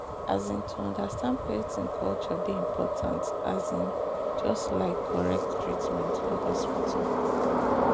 um to understand person culture dey important um just like correct treatment for hospital.